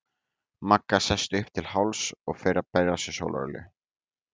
Magga sest upp til hálfs og fer að bera á sig sólarolíu.